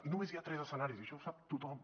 i només hi ha tres escenaris i això ho sap tothom